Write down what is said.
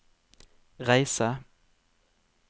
reise